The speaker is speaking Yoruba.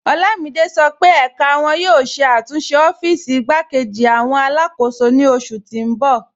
Olamide sọ pe ẹká wọn yóò ṣẹ̀ àtúnṣe ọ́fíìsì ìgbàkẹ̀jì awọn aláàkọ́sò ni oṣù tì n bọ̀.